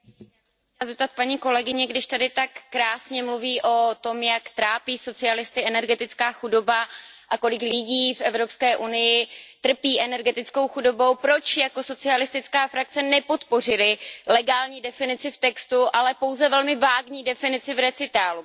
Já bych se chtěla zeptat paní kolegyně, když tady tak krásně mluví o tom, jak trápí socialisty energetická chudoba a kolik lidí v EU trpí energetickou chudobou, proč jako socialistická frakce nepodpořili legální definici v textu, ale pouze velmi vágní definici v bodu odůvodnění?